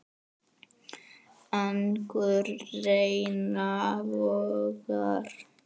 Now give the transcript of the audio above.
Angurs renna vogar.